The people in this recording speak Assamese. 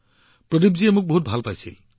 প্ৰদীপজী মই এইটো খুব ভাল পাইছো